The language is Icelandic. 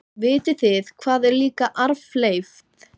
Vitið þið hvað er líka arfleifð?